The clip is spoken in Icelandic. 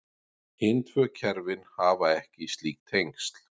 Hin tvö kerfin hafa ekki slík tengsl.